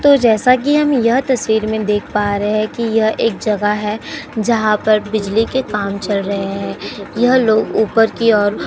तो जैसा कि हम यहां यह तस्वीर में देख पा रहे हैं कि यह एक जगह है जहां पर बिजली के काम चल रहे हैं। यह लोग ऊपर की ओर --